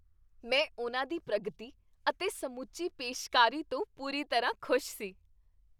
ਮੈਂ ਉਨ੍ਹਾਂ ਦੀ ਪ੍ਰਗਤੀ ਅਤੇ ਸਮੁੱਚੀ ਪੇਸ਼ਕਾਰੀ ਤੋਂ ਪੂਰੀ ਤਰ੍ਹਾਂ ਖੁਸ਼ ਸੀ।